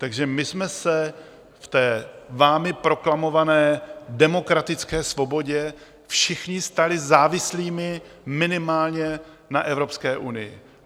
Takže my jsme se v té vámi proklamované demokratické svobodě všichni stali závislými minimálně na Evropské unii!